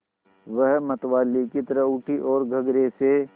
वह मतवाले की तरह उठी ओर गगरे से